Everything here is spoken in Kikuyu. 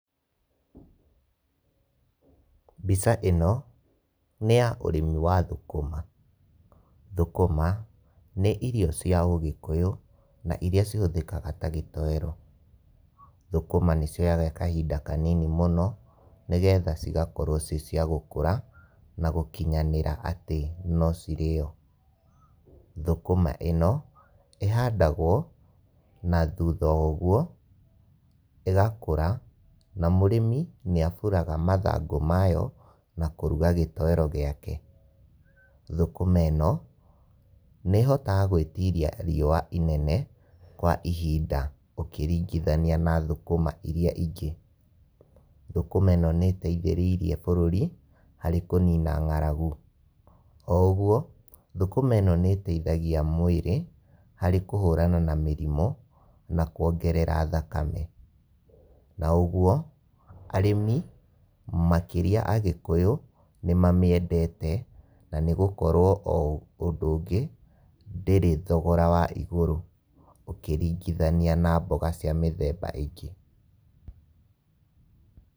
Mbica ĩno nĩ ya ũrĩmi wa thũkũma. Thũkũma nĩ irio cia ũgĩkũyũ na iria cihũhĩkaga ta gĩtoero. Thũkũma nĩcioyaga kahinda kanini mũno, nĩgetha cigakorwo ciĩ cia gũkũra na gũkinyanĩra atĩ no cĩrĩo. Thũkũma ĩ no ĩhandagwo na thutha ũguo ĩgakũra na mũrĩmi nĩaburaga mathangũ mayo na kũruga gĩtoero gĩake. Thũkũma ĩ no nĩĩhotaga gwĩtiria riũa inene kwa ihinda ũkĩringithania na thũkũma iria ingĩ. Thũkũma ĩno nĩĩteithĩrĩirie bũrũri harĩ kũnina ng'aragu. Oũguo thũkũma ĩno nĩĩteithagia mwĩrĩ harĩ kũhũrana na mĩrimũ na kuongerera thakame. Na ũguo arĩmi makĩria agĩkũyũ nĩmamĩendete na nĩgũkorwo o ũndũ ũngĩ ndĩrĩ thogora wa igũrũ, ũkĩringithania na mboga cia mĩthemba ĩngĩ.